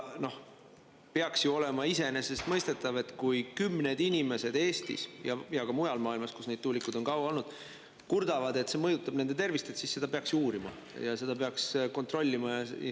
Peaks ju olema iseenesestmõistetav, et kui kümned inimesed Eestis ja ka mujal maailmas, kus need tuulikud on kaua olnud, kurdavad, et see mõjutab nende tervist, siis seda peaks uurima, seda peaks kontrollima.